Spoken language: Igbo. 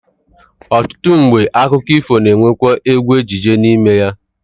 Ọtụtụ mgbe, akụkọ ifo na-anwekwa egwu ejije n'ime ya